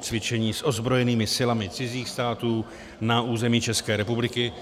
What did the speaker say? cvičení s ozbrojenými silami cizích států na území České republiky.